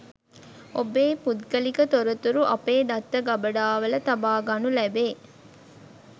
ඔබේ පුද්ගලික තොරතුරු අපේ දත්ත ගබඩාවල තබාගනු ලැබේ